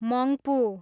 Mangpu